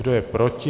Kdo je proti?